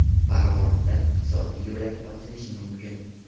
Farg‘onada iqtisodiy yo‘lak ochilishi mumkin.